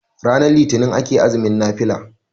ranar litinin ake azumin nafila